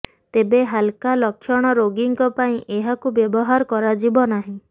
ତେବେ ହାଲକା ଲକ୍ଷଣ ରୋଗୀଙ୍କ ପାଇଁ ଏହାକୁ ବ୍ୟବହାର କରାଯିବ ନାହିଁ